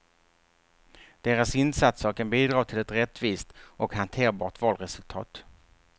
Deras insatser kan bidra till ett rättvist och hanterbart valresultat.